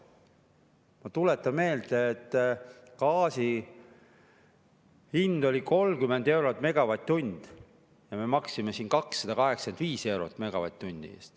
Ma tuletan meelde, et gaasi hind oli 30 eurot megavatt-tunni eest ja me maksime siin ka 285 eurot megavatt-tunni eest.